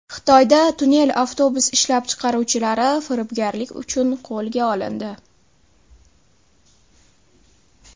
Xitoyda tunnel avtobus ishlab chiqaruvchilari firibgarlik uchun qo‘lga olindi.